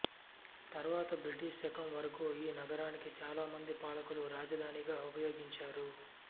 తరువాత బ్రిటిష్ శకం వరకు ఈ నగరాన్ని చాలా మంది పాలకులు రాజధానిగా ఉపయోగించారు